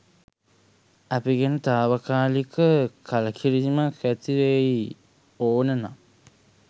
අපි ගැන තාවකාලික කලකිරීමක් ඇතිවෙයි ඕන නම්